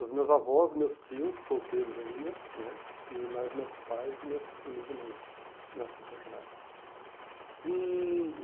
Os meus avós, meus tios, solteiros ainda né, e mais meus pais e meus e meus irmãos, nascidos naquela época. E